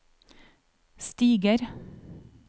stiger